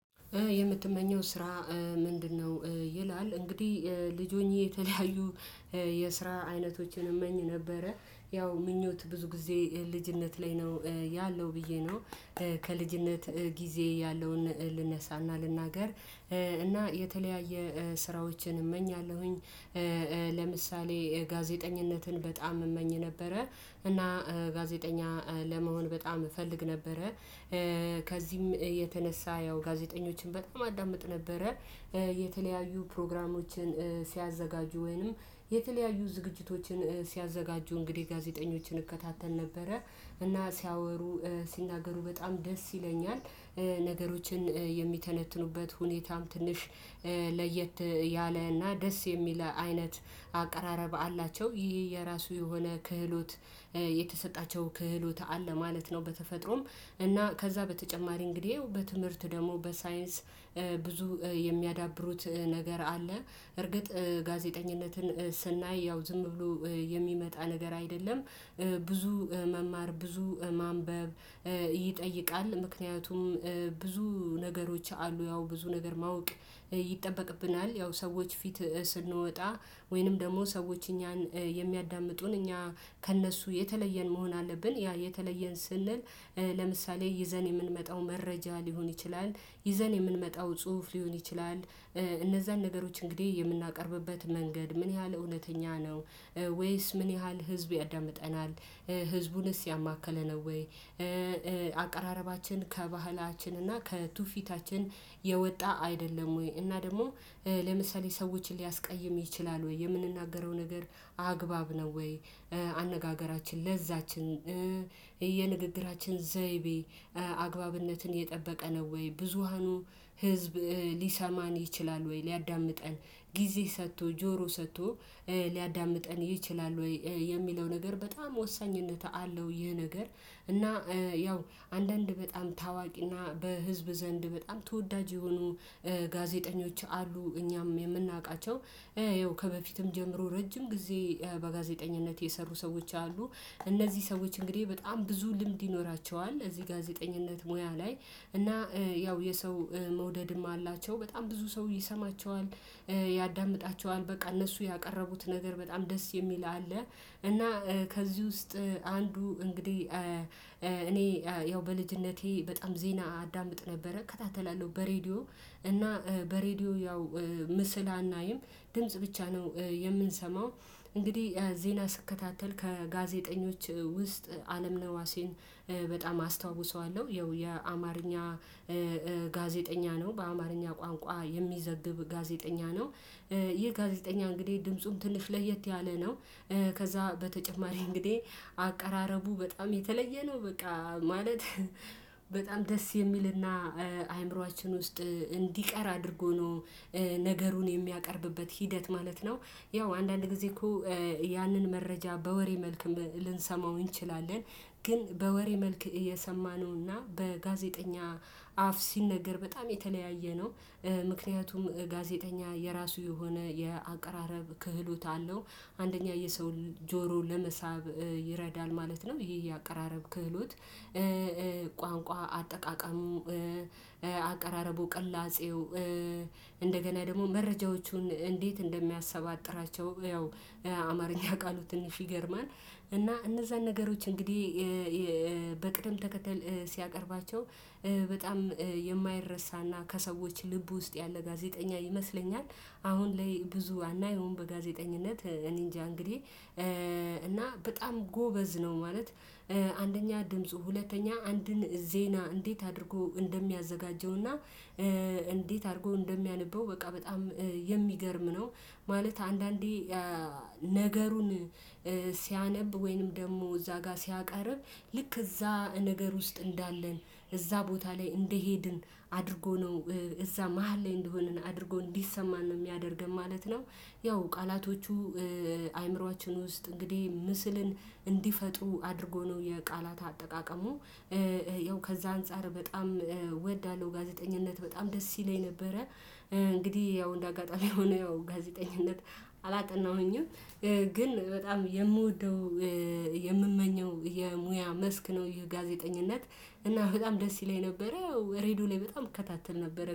የምትመኘው ስራ ምንድነው? ይላል እንግዲህ ልጅ ሆኜ የተለያዩ የስራ አይነቶችን እመኝ ነበረ ያው ምኞት ብዙ ጊዜ ልጅነት ላይ ነው ያለው ብዬ ነው። ከልጅነት ጊዜ ያለውን ልነሳና ልናገር እና የተለያየ ስራዎችን እመኛለሁኝ። ለምሳሌ ጋዜጠኝነትን በጣም እመኝ ነበረ እና ጋዜጠኛ ለመሆን በጣም እፈልግ ነበረ። ከዚህም የተነሳ ያው ጋዜጠኞችን በጣም አዳምጥ ነበረ። የተለያዩ ፕሮግራሞችን ሲያዘጋጁ ወይንም የተለያዩ ዝግጅቶችን ሲያዘጋጁ እንግዲህ ጋዜጠኞችን እከታተል ነበረ እና ሲያወሩ ሲናገሩ በጣም ደስ ይለኛል። ነገሮችን የሚተነትኑበት ሁኔታም ትንሽ ለየት ያለ እና ደስ የሚል አይነት አቀራረብ አላቸው ይሄ የራሱ የሆነ ክህሎት የተሰጣቸው ክህሎት አለ ማለት ነው። በተፈጥሮም እና ከዛ በተጨማሪ እንግዲህ በትምህርት ደግሞ በሳይንስ ብዙ የሚያዳብሩት ነገር አለ እርግጥ ጋዜጠኝነትን ስናይ ያው ዝም ብሎ የሚመጣ ነገር አይደለም። ብዙ መማር ብዙ ማንበብ ይጠይቃል። ምክንያቱም ብዙ ነገሮች አሉ ያው ብዙ ነገር ማወቅ ይጠበቅብናል። ያው ሰዎች ፊት ስንወጣ ወይንም ደግሞ ሰዎች እኛን የሚያዳምጡን እኛ ከእነሱ የተለየን መሆን አለብን። ያ የተለየን ስንል ለምሳሌ ይዘን የምንመጣው መረጃ ሊሆን ይችላል ይዘን የምንመጣው ጽሁፍ ሊሆን ይችላል። እነዛን ነገሮች እንግዲህ የምናቀርብበት መንገድ ምን ያህል እውነተኛ ነው? ወይስ ምን ያህል ህዝቡ ያዳምጠናል? ህዝቡንስ ያማከለ ነው ወይ? አቀራረባችን ከባህላችን እና ከቱፊታችን የወጣ አይደለም ወይ? እና ደግሞ ለምሳሌ ሰዎችን ሊያስቀይም ይችላል ወይ? የምንናገረው ነገር አግባብ ነው ወይ? አነጋገራችን ለዛችን የንግግራችን ዘይቤ አግባብነትን የጠበቀ ነው ወይ? ብዙሃኑ ህዝብ ሊሰማን ይችላል ወይ ሊያዳምጠን ጊዜ ሰጥቶ ጆሮ ሰጥቶ ሊያዳምጠን ይችላል? ወይ የሚለው ነገር በጣም ወሳኝነት አለው። ይህ ነገር እና ያው አንዳንድ በጣም ታዋቂና በህዝብ ዘንድ በጣም ተወዳጅ የሆኑ ጋዜጠኞች አሉ እኛም የምናውቃቸው ያው ከበፊትም ጀምሮ ረጅም ጊዜ በጋዜጠኝነት የሰሩ ሰዎች አሉ። እነዚህ ሰዎች እንግዲህ በጣም ብዙ ልምድ ይኖራቸዋል እዚህ ጋዜጠኝነት ሙያ ላይ እና ያው የሰው መውደድም አላቸው በጣም ብዙ ሰው ይሰማቸዋል። ያዳምጣቸዋል በቃ እነሱ ያቀረቡት ነገር በጣም ደስ የሚል አለ። እና ከዚህ ውስጥ አንዱ እንግዲህ እኔ ያው በልጅነቴ በጣም ዜና አዳምጥ ነበረ። ከታተላለሁ በሬዲዮ እና በሬዲዮ ያው ምስል አናይም ድምጽ ብቻ ነው። የምንሰማው እንግዲህ ዜና ስከታተል ከጋዜጠኞች ውስጥ አለምነህ ነዋሴን በጣም አስታውሰዋለሁ። ያው የአማርኛ ጋዜጠኛ ነው በአማርኛ ቋንቋ የሚዘግብ ጋዜጠኛ ነው። ይህ ጋዜጠኛ እንግዲህ ድምፁም ትንሽ ለየት ያለ ነው። ከዛ በተጨማሪ እንግዲህ አቀራረቡ በጣም የተለየ ነው። በቃ ማለት በጣም ደስ የሚልና አእምሮአችን ውስጥ እንዲቀር አድርጎ ነው። ነገሩን የሚያቀርብበት ሂደት ማለት ነው። ያው አንዳንድ ጊዜ እኮ ያንን መረጃ በወሬ መልክ ልንሰማው እንችላለን። ግን በወሬ መልክ የሰማነውና በጋዜጠኛ አፍ ሲነገር በጣም የተለያየ ነው። ምክንያቱም ጋዜጠኛ የራሱ የሆነ የአቀራረብ ክህሎት አለው። አንደኛ የሰውን ጆሮ ለመሳብ ይረዳል ማለት ነው። ይሄ የአቀራረብ ክህሎት ቋንቋ አጠቃቀሙ አቀራረቡ ቅላጼው እንደገና ደግሞ መረጃዎቹን እንዴት እንደሚያሰባጥራቸው ያው አማርኛ ቃሉ ትንሽ ይገርማል። እና እነዛን ነገሮች እንግዲህ በቅድም ተከተል ሲያቀርባቸው በጣም የማይረሳና ከሰዎች ልብ ውስጥ ያለ ጋዜጠኛ ይመስለኛል። አሁን ላይ ብዙ አናየውም በጋዜጠኝነት እኔንጃ እንግዲህ እና በጣም ጎበዝ ነው። ማለት አንደኛ ድምፁ ሁለተኛ አንድን ዜና እንዴት አድርጎ እንደሚያዘጋጀውና እንዴት አድርጎ እንደሚያነበው በቃ በጣም የሚገርም ነው። ማለት አንዳንዴ ነገሩን ሲያነብ ወይንም ደግሞ እዛ ጋር ሲያቀርብ ልክ እዛ ነገር ውስጥ እንዳለን እዛ ቦታ ላይ እንደሄድን አድርጎ ነው። እዛ መሃል ላይ እንደሆንን አድርጎ እንዲሰማን ነው የሚያደርገን ማለት ነው። ያው ቃላቶቹ አእምሮአችን ውስጥ እንግዲህ ምስልን እንዲፈጥሩ አድርጎ ነው የቃላት አጠቃቀሙ። ያው ከዛ አንፃር በጣም እወዳለሁ ጋዜጠኝነት በጣም ደስ ይለኝ ነበረ። እንግዲህ ያው እንደ አጋጣሚ ሆኖ ያው ጋዜጠኝነት አላጠናሁኝም። ግን በጣም የምወደው የምመኘው የሙያ መስክ ነው። ይሄ ጋዜጠኝነት እና በጣም ደስ ይለኝ ነበረ ያው ሬድዮ ላይ በጣም እከታተል ነበረ